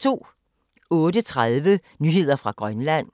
08:30: Nyheder fra Grønland